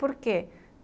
Por quê?